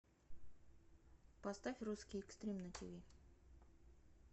поставь русский экстрим на тиви